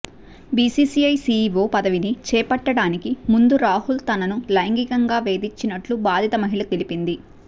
BCCI CEO పదవిని చేపట్టడానికి ముందు రాహుల్ తనను లైంగికంగా వేధించినట్లు బాధిత మహిళ తెలిపింది